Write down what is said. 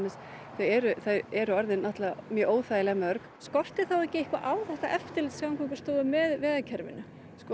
þau eru þau eru orðin óþægilega mörg skortir þá ekki eitthvað á þetta eftirlit Samgöngustofu með vegakerfinu